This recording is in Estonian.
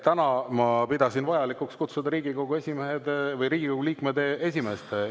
Täna ma pidasin vajalikuks kutsuda Riigikogu liikmed esimestena.